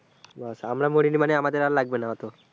ব্যাস আমরা মরিনি মানে আমাদের আর লাগবেনা অতো।